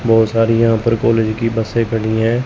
बहोत सारी यहां पर कॉलेज की बसे खड़ी हैं।